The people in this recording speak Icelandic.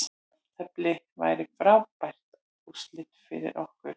Jafntefli væri frábær úrslit fyrir okkur